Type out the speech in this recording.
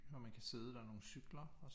Og man kan sidde der er nogle cykler